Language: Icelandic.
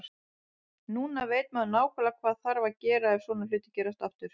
Núna veit maður nákvæmlega hvað þarf að gera ef svona hlutir gerast aftur.